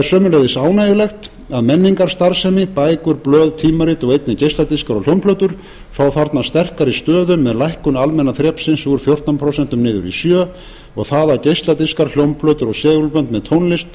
sömuleiðis ánægjulegt að menningarstarfsemi bækur blöð tímarit og einnig geisladiskar og hljómplötur fá þarna sterkari stöðu með lækkun almenna þrepsins úr fjórtán prósent niður í sjö og það að geisladiskar hljómplötur og segulbönd